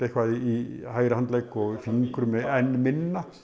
í hægri handlegg og í fingrum enn minna